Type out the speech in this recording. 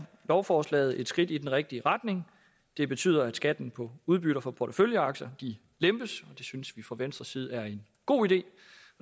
lovforslaget et skridt i den rigtige retning det betyder at skatten på udbytter fra porteføljeaktier lempes og det synes vi fra venstres side er en god idé